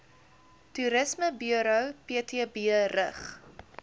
toerismeburo ptb rig